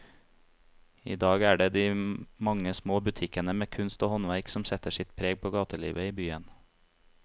I dag er det de mange små butikkene med kunst og håndverk som setter sitt preg på gatelivet i byen.